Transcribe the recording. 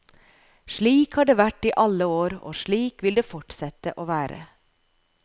Slik har det vært i alle år, og slik vil det fortsette å være.